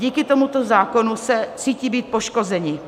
Díky tomuto zákonu se cítí být poškozeni.